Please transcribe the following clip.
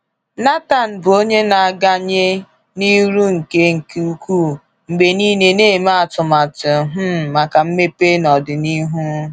Nathan bụ onye na-agawnye n'iru nke nke ukwuu, mgbe niile na-eme atụmatụ um maka mmepe n'ọdịnihu.